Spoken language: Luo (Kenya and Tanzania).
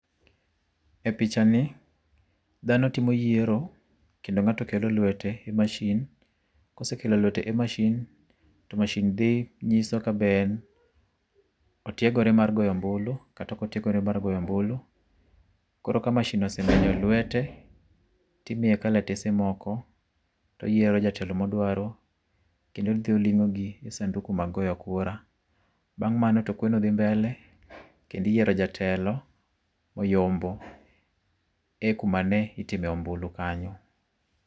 E picha ni dhano timo yiero kendo ng'ato kelo lwete e mashin, kosekelo lwete e mashin to mashin nyiso kabe otiegore mar goyo ombulu kata ok otiegore mar goyo ombulu. Koro ka mashin osee menyo lwete, to imiye kalatese moko to oyiero jatelo modwaro kendo odhi oling'ogi e sanduku mag goyo kura. Bang' mano to kweno dhi mbele kendo iyiero jatelo moyombo e kumane itime ombulu kanyo.